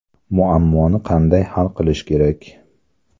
Muammoni qanday hal qilish kerak?